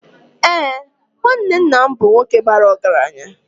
Ee, nwanne nna m bụ nwoke bara ọgaranya.